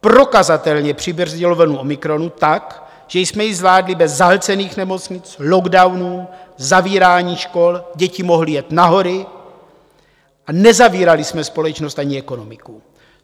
prokazatelně přibrzdilo vlnu omikronu tak, že jsme ji zvládli bez zahlcených nemocnic, lockdownů, zavírání škol, děti mohly jet na hory a nezavírali jsme společnost ani ekonomiku.